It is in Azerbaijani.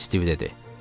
Stiv dedi.